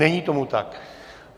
Není tomu tak.